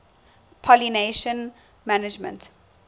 pollination management